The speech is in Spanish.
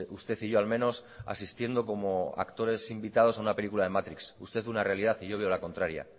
usted y yo al menos asistiendo como actores invitados a una película de matrix usted una realidad y yo veo la contraria